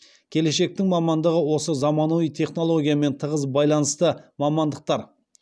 келешектің мамандығы осы заманауи технологиямен тығыз байланысты мамандықтар